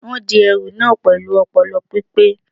Wọ́n di ẹrù na pẹ̀lú ọpọlọ pípé